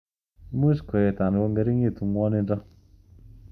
Much koet anan kongeringitu ngwonindo.